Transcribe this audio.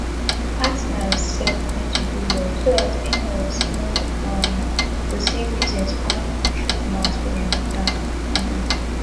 partners sef need to do well so dat inlaws no um go see reason to come chook mouth for their matter um